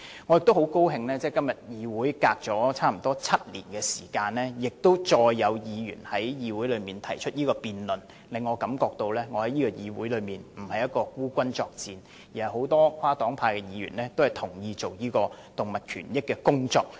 我很高興在相隔7年後，再有議員就這議題提出議案辯論，令我感到我在議會內並非孤軍作戰，而是很多跨黨派議員都同意應為動物權益多做工作。